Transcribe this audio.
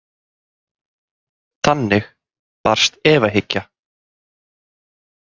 Þannig barst efahyggja.